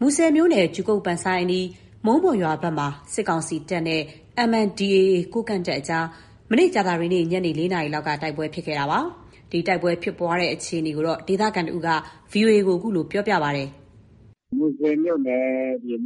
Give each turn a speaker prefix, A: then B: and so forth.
A: မူဆယ်မြို့နယ် ကြူကုတ် အနီး မုံးပေါ်ရွာဘက်မှာ စစ်ကောင်စီတပ်နဲ့ MNDAA ကိုးကန့်တပ်အကြား ကြာသပတေးနေ့ ညနေ ၄ နာရီလောက်မှာ တိုက်ပွဲဖြစ်ခဲ့တာပါ။ ဒီတိုက်ပွဲဖြစ်ပွားတဲ့ အခြေအနေကို ဒေသခံတဦးက ဗွီအိုအေကို အခုလို ပြောပြပါတယ်
B: ။ “မူဆယ်မြို့နယ်